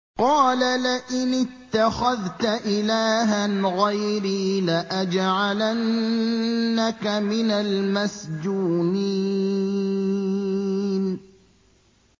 قَالَ لَئِنِ اتَّخَذْتَ إِلَٰهًا غَيْرِي لَأَجْعَلَنَّكَ مِنَ الْمَسْجُونِينَ